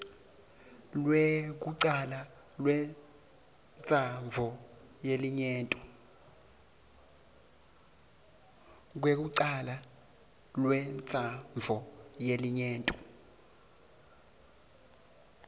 lwekucala lwentsandvo yelinyenti